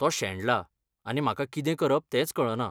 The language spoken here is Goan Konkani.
तो शेणला आनी म्हाका कितें करप तेंच कळना.